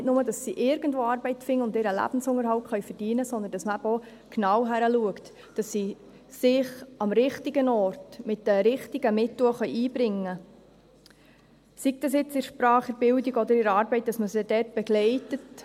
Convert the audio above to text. Nicht nur, dass sie irgendwo Arbeit finden und ihren Lebensunterhalt verdienen können, sondern dass man eben auch genau hinschaut, dass sie sich am richtigen Ort mit den richtigen Mitteln auch einbringen können, sei das jetzt in der Sprache, in der Bildung, oder sei es, dass man sie bei der Arbeit begleitet.